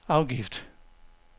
afgift